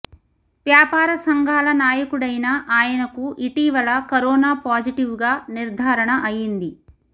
వ్యాపార సంఘాల నాయకుడైన ఆయనకు ఇటీవల కరోనా పాజిటివ్గా నిర్ధారణ అయ్యింది